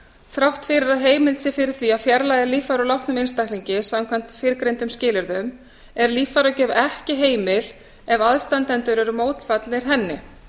þrátt fyrir að heimild sé fyrir því að fjarlægja líffæri úr látnum einstaklingi samkvæmt fyrrgreindum skilyrðum er líffæragjöf ekki heimil ef aðstandendur eru mótfallnir henni